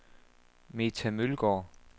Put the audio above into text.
Meta Mølgaard